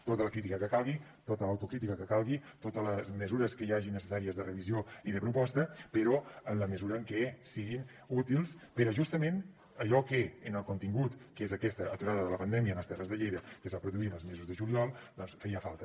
tota la crítica que calgui tota l’autocrítica que calgui totes les mesures que hi hagi necessàries de revisió i de proposta però en la mesura que siguin útils per a justament allò que en el contingut que és aquesta aturada de la pandèmia en les terres de lleida que es va produir en els mesos de juliol feia falta